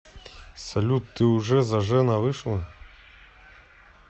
салют ты уже зажена вышла